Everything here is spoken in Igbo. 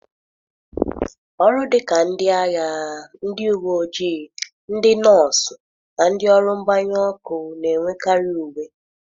Ọrụ dị ka ndị agha, ndị uwe ojii, ndị nọọsụ, na ndị ọrụ mgbanyụ ọkụ na-enwekarị uwe.